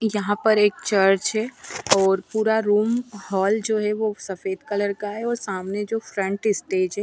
यहां पर एक चर्च है और पूरा रूम हॉल जो है वो सफेद कलर का है और सामने जो फ्रंट स्टेज है --